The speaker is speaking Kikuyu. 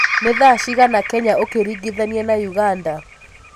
ni thaa cĩĩgana Kenya ukiringithania na uganda